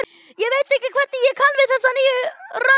Ég veit ekki hvernig ég kann við þessa nýju rödd.